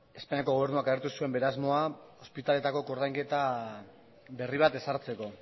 espainiako gobernuak agertu zuen bere asmoa ospitaleetako koordainketa berri bat ezartzeko